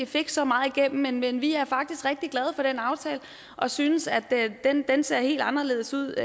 fik så meget igennem men vi er faktisk rigtig glade for den aftale og synes at den ser helt anderledes ud